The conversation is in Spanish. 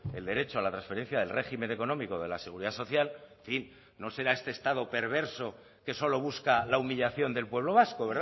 el derecho a la transferencia del régimen económico de la seguridad social en fin no será este estado perverso que solo busca la humillación del pueblo vasco